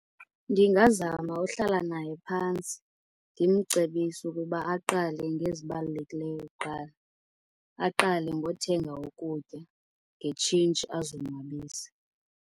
Ndingazama uhlala naye phantsi ndimcebise ukuba aqale ngezibalulekileyo kuqala. Aqale ngothenga ukutya, ngetshintshi azonwabise.